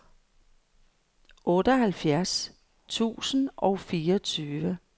otteoghalvfjerds tusind og fireogtyve